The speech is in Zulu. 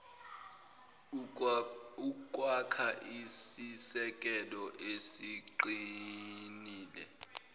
ukwakha isisekelo esiqinile